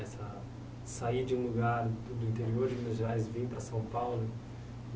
Essa... sair de um lugar do interior de Minas Gerais e vir para São Paulo.